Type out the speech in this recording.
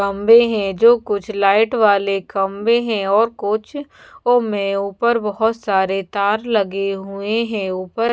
खम्भे हैं जो कुछ लाइट वाले खम्भे हैं और कुछ वो में ऊपर बहुत सारे तार लगे हुए हैं ऊपर--